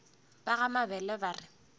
ba ga mabele ba re